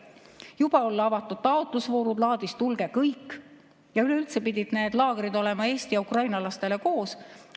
Juba olla avatud taotlusvoorud laadis "Tulge kõik!" ja üleüldse pidid nendes laagrites olema Eesti ja Ukraina lapsed koos.